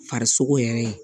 Farisoko yɛrɛ